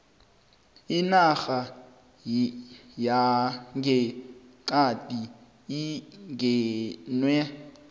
inarha yangeqadi ingenwe